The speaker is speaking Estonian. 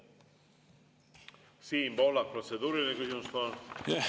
Siim Pohlak, protseduuriline küsimus, palun!